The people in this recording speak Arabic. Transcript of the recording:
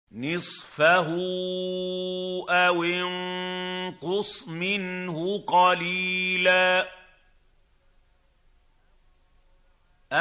نِّصْفَهُ أَوِ انقُصْ مِنْهُ قَلِيلًا